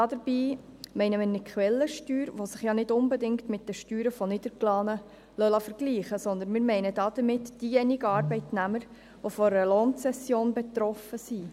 Dabei meinen wir nicht die Quellensteuern, die sich nicht unbedingt mit den Steuern von Niedergelassenen vergleichen lassen, sondern wir meinen diejenigen Arbeitnehmer, die von einer Lohnzession betroffen sind.